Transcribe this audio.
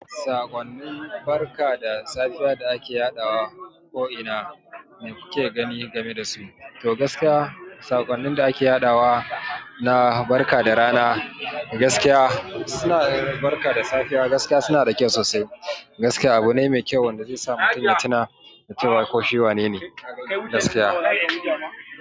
Saƙonnin barka da safiya da ake yaɗawa ko'ina me kuke gani game dasu? Toh gaskiya sakonin da ake yadawa, na barka da rana, suna da barka da safe kuma suna da kyau sosai. Gaskiya abu ne mai kyau wanda zai sa mutun ya tuna da cewa ko shi wanene, gaskiya!